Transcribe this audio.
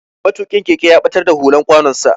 Matukin keke ya batar da hular kwanon sa.